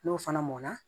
N'o fana mɔna